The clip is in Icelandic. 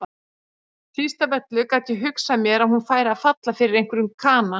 Síst af öllu gat ég hugsað mér að hún færi að falla fyrir einhverjum kana.